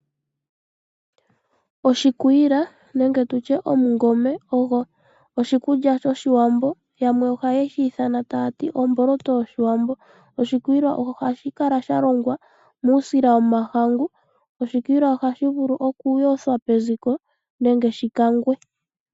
Oshikwila nenge tutye omungome ogo oshikulya shoshiwambo yamwe ohayeshi ithana tayati omboloto yoshiwambo. Oshikwila ohashi kala shalongwa muusila womahangu, oshikwila ohashi vulu okuyothwa peziko nenge shi kangwe.